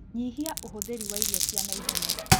Nyihia ũhũthĩri wa irio cia naihenya